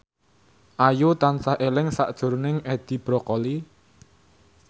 Ayu tansah eling sakjroning Edi Brokoli